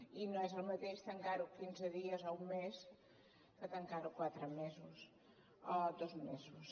i no és el mateix tancar ho quinze dies o un mes que tancar ho quatre mesos o dos mesos